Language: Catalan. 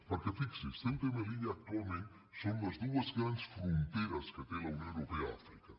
perquè fixi’s ceuta i melilla actualment són les dues grans fronteres que té la unió europea a àfri·ca